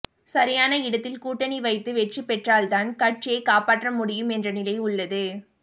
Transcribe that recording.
சரியான இடத்தில் கூட்டணி வைத்து வெற்றி பெற்றால்தான் கட்சியை காப்பாற்ற முடியும் என்ற நிலை உள்ளது